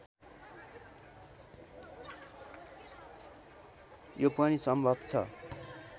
यो पनि सम्भव छ